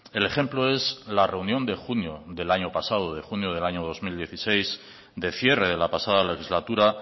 el ejemplo es la reunión de junio del año pasado de junio del año dos mil dieciséis de cierre de la pasada legislatura